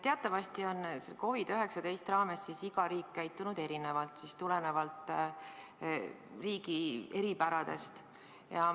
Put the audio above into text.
Teatavasti on COVID-19 raames iga riik käitunud erinevalt, tulenevalt riigi eripäradest.